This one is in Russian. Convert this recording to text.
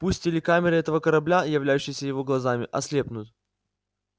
пусть телекамеры этого корабля являющиеся его глазами ослепнут